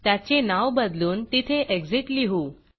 त्याचे नाव बदलून तिथे Exitएग्ज़िट लिहू